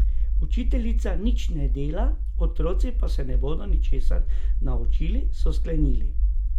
Učiteljica nič ne dela, otroci pa se ne bodo ničesar naučili, so sklenili.